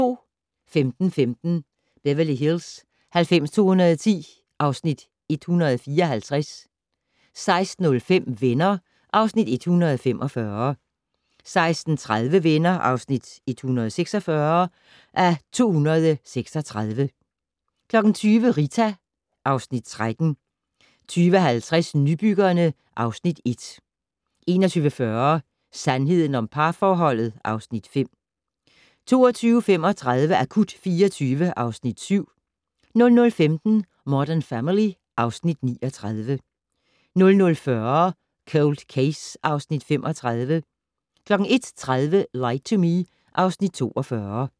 15:15: Beverly Hills 90210 (Afs. 154) 16:05: Venner (Afs. 145) 16:30: Venner (146:236) 20:00: Rita (Afs. 13) 20:50: Nybyggerne (Afs. 1) 21:40: Sandheden om parforholdet (Afs. 5) 22:35: Akut 24 (Afs. 7) 00:15: Modern Family (Afs. 39) 00:40: Cold Case (Afs. 35) 01:30: Lie to Me (Afs. 42)